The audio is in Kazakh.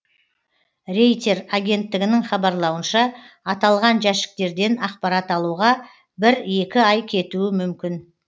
рейтер агенттігінің хабарлауынша аталған жәшіктерден ақпарат алуға бір екі ай кетуі мүмкін